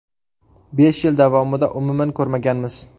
Besh yil davomida umuman ko‘rmaganmiz.